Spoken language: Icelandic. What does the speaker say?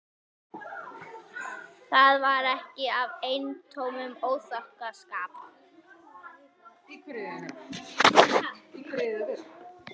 Það var ekki af eintómum óþokkaskap.